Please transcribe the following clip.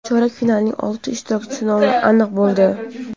Chorak finalning olti ishtirokchisi nomi aniq bo‘ldi.